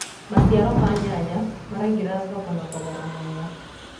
maciaro ma nyanya maraingira thoko-inĩ na thogora mwega